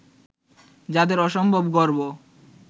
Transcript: যাঁদের অসম্ভব গর্ব